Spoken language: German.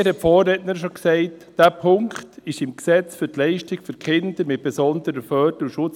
dies hat die Vorrednerin schon gesagt, betrifft das FSG.